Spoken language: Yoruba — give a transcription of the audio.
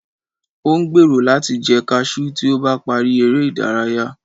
o n gbero lati jẹ cashew ti o ba pari ere idaraya